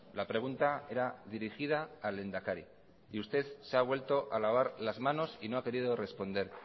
la pregunta era dirigida al lehendakari y usted se ha vuelto a lavar las manos y no ha querido responder